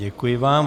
Děkuji vám.